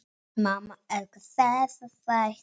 Mamma elskar þessa þætti.